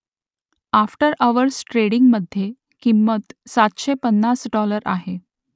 after hours ट्रेडिंगमधे किंमत सातशे पन्नास डॉलर आहे